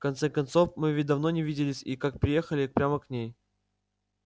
в конце концов мы ведь давно не виделись и как приехали прямо к ней